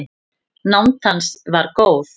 Nánd hans var góð.